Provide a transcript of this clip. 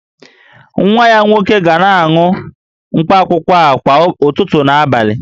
Nwa ya nwoke ga na-aṅụ mkpaakwụkwọ a kwa ụtụtụ na abalị